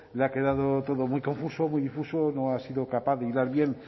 le ha quedado todo muy confuso muy difuso no ha sido capaz de hilar bien